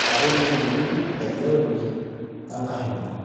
eetai mwenyekiti, enkaigeroni oenkashumani